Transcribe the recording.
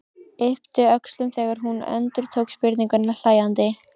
Yppti öxlum þegar hún endurtók spurninguna hlæjandi.